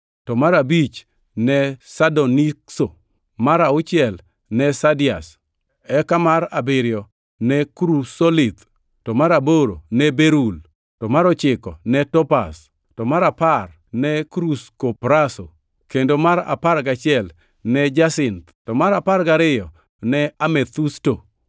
to mar abich ne sardonikso, mar auchiel ne sardius, eka mar abiriyo ne krusolith, to mar aboro ne berul, mar ochiko ne topaz, to mar apar ne kruskopraso, kendo mar apar gachiel ne jasinth, to mar apar gariyo ne amethusto.